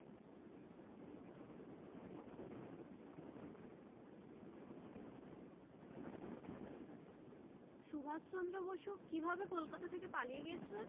সুভাষ চন্দ্র বসু কিভাবে কলকাতা থেকে পালিয়ে গিয়েছিলেন